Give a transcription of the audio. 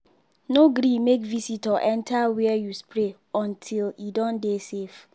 no gree make visitor enter where you spray until e don dey safe